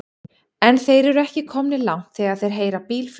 En þeir eru ekki komnir langt þegar þeir heyra bíl flauta.